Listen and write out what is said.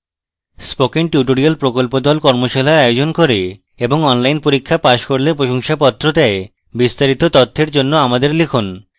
spoken tutorial প্রকল্প দল কর্মশালার আয়োজন করে এবং online পরীক্ষা pass করলে প্রশংসাপত্র দেয় বিস্তারিত তথ্যের জন্য আমাদের লিখুন